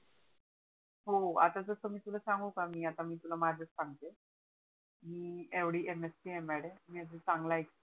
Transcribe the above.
हो आता कस मी तुला सांगू का मी आता तुला माझच सांगते मी येवडी MSCML आहे मी अजून चांगला एक